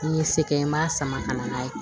Ni n ye se kɛ n b'a sama ka na n'a ye